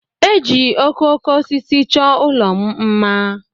E ji okooko osisi chọọ ụlọ m mma.